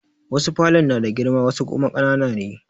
Wasu falon na da girma wasu kuma ƙanana ne.